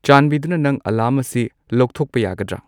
ꯆꯥꯟꯕꯤꯗꯨꯅ ꯅꯪ ꯑꯦꯂꯥꯔꯝ ꯑꯁꯤ ꯂꯧꯊꯣꯛꯄ ꯌꯥꯒꯗ꯭ꯔ